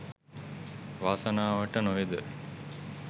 වාසනාවට නොවේද